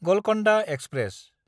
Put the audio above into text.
Golconda express